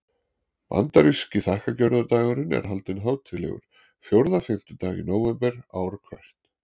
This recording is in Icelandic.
Bandaríski þakkargjörðardagurinn er haldinn hátíðlegur fjórða fimmtudag í nóvember ár hvert.